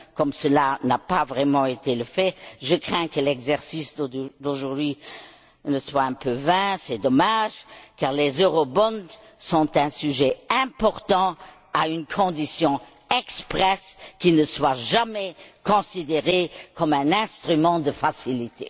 Comme cela n'a pas vraiment été fait, je crains que l'exercice d'aujourd'hui ne soit un peu vain. C'est dommage, car les eurobonds sont un sujet important, à la condition expresse qu'ils ne soient jamais considérés comme un instrument de facilité.